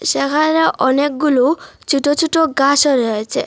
সেখানে অনেকগুলো ছুটো ছুটো গাসও রয়েছে।